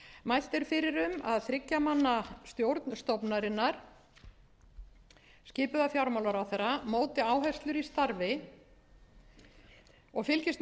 mælt er fyrir um að þriggja manna stjórn stofnunarinnar skipuð af fjármálaráðherra móti áherslur í starfi og fylgist með starfsemi og